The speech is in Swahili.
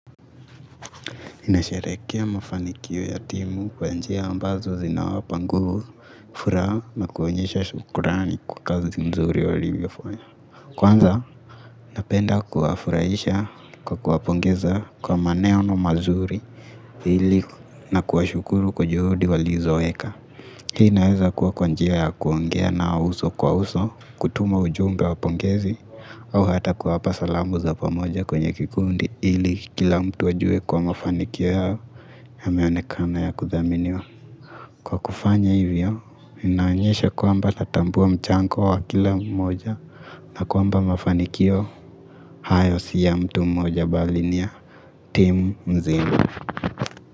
Ninashehereka mafanikio ya timu kwa njia ambazo zinawapangu hufura na kuonyesha shukurani kwa kazi nzuri waliyofanya. Kwanza napenda kuwafurahisha kwa kuwapongeza kwa maneno mazuri ili na kuwashukuru kwa juhudi walizoweka. Hii naweza kuwa kwa njia ya kuongea na uso kwa uso, kutuma ujumbe wa pongezi, au hata kuwapa salamu za pamoja kwenye kikundi ili kila mtu ajue kwa mafanikio yao yameonekana ya kuthaminiwa. Kwa kufanya hivyo, inanyesha kwamba tatambua mchango wa kila mmoja na kwamba mafanikio, hayo si ya mtu mmoja bali ni ya tim nzima.